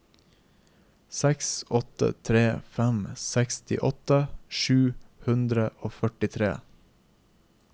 seks åtte tre fem sekstiåtte sju hundre og førtitre